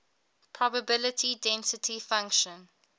probability density function